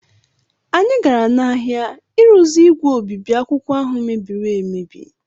Anyị gara n’ahịa ịrụzi ígwè obibi akwụkwọ ahụ mebiri emebi.